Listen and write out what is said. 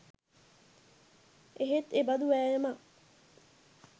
එහෙත් එබඳු වෑයමක්